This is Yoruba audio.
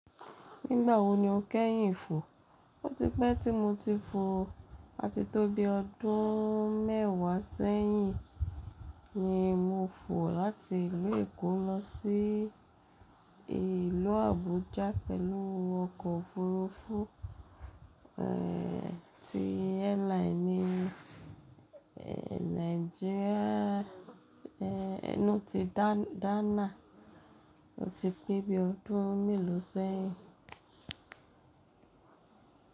Nígbà wo ni o kẹ́yìn fò? O ti pẹ́ tí mo ti fò àti tó bí ọdún mẹ́wàá sẹ́yìn ni mo fò láti ìlú Èkó lọ sí ìlú Àbújá pẹ̀lú ọkọ̀ òfuurufú, ẹ́ ti airline ni ẹ́ Nigeria ẹ́ ẹnu ti Dana. O ti pé bí ọdún mélòó sẹ́yìn.